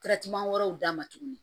wɛrɛw d'a ma tuguni